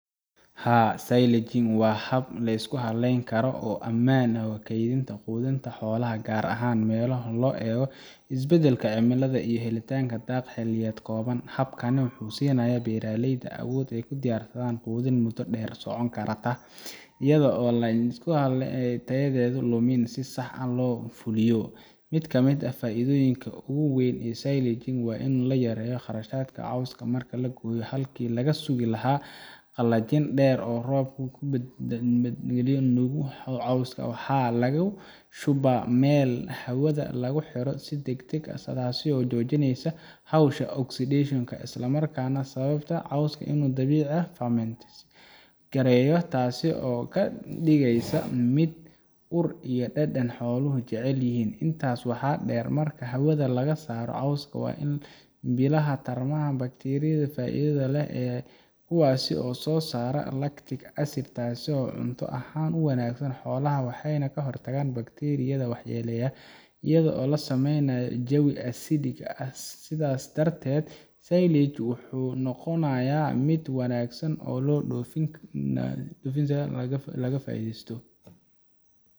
Haa silaging wa hab liskuhaleyn Karo o amaan oo kaydinta qudhinta xolaha gaar ahaan melaho lo eega isbadalka cimiladha iyo helitanka daaq xiliyed kooban habkana wuxu siinaya beeraleyda awood ay kudiyaar sadhan qudhin muda deer socon Karta. Iyadho lisku tayadhedho lumin si sax lofuliyo. Mid kamid faidhonyinka ugu wayn silaging wa ina layareyo qarashadka qowska marka lagoya halki lagasugi laha qalajin deer oo robka kunabad gilin cowska waxa lagashuba Mel hawadha laguhero si dagdag ah sidhas oo jojineyso howsha oxideshonka Isla markana sawabta cowska Dabici famintis gareyo taaso oo kadigeysa mid urr iyo dedan xolaha jecelyihin intaas waxa deer marka hawadha lagasaro cowska wa in bilaha tarmadha bakteriyadha faidhadha leh ee kuwaas oo sosara lactic acid taaso cunta ahaan u wanagsan xolaha waxayna kahortagaan backteriyadha waxa yeleyo iyadho lasameynayo jawi acidic ah sidhas darted silage wuxu noqonayo mid wanagsan oo lodofin dofida laga faidheysto.